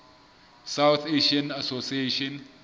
south asian association